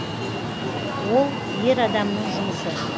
ол ер адамның жұмысы